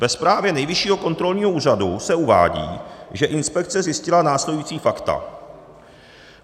Ve zprávě Nejvyššího kontrolního úřadu se uvádí, že inspekce zjistila následující fakta.